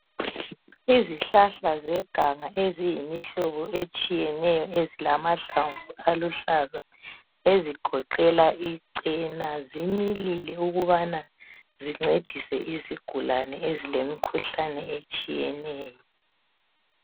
Izihlahla zeganga eziyimihlobo etshiyeneyo ezilamahlamvu aluhlaza ezigoqela icela zimilile ukubana zincedise izigulane ezilemikhuhlane etshiyeneyo.